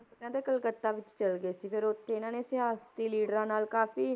ਤੇ ਕਹਿੰਦੇ ਕਲਕੱਤਾ ਵਿੱਚ ਚਲੇ ਗਏ ਸੀ ਫਿਰ ਉੱਥੇ ਇਹਨਾਂ ਨੇ ਸਿਆਸਤੀ ਲੀਡਰਾਂ ਨਾਲ ਕਾਫ਼ੀ